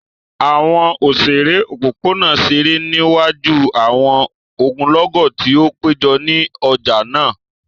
Awọn oṣere opopona ṣere niwaju awọn ogunlọgọ ti o pejọ ni ọja naa.